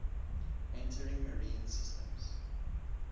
entering marine systems